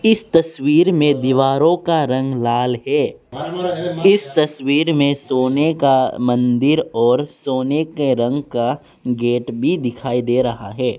इस तस्वीर में दीवारों का रंग लाल है इस तस्वीर में सोने का मंदिर और सोने के रंग का गेट भी दिखाई दे रहा है।